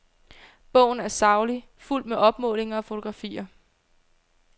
Bogen er saglig, fuldt med opmålinger og fotografier.